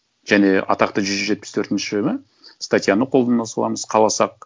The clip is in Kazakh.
және атақты жүз жетпіс төртінші ма статьяны колдана саламыз қаласақ